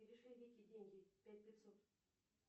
перешли вике деньги пять пятьсот